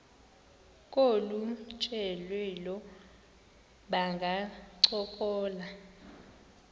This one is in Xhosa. kolu tyelelo bangancokola